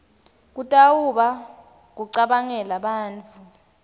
kutawuba kucabangela bantfu